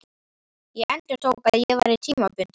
Ég endurtók, að ég væri tímabundinn.